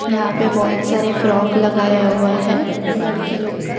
यहां पे बहोत सारे फ्रॉक लगाया हुआ है लड़की लोग का।